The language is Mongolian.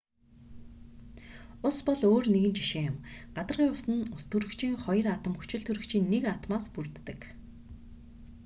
ус бол өөр нэгэн жишээ юм гадаргын ус нь устөрөгчийн хоёр атом хүчилтөрөгчийн нэг атомоос бүрддэг